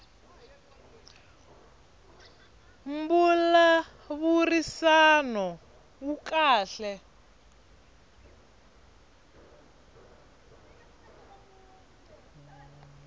mbulavurisano wu kahle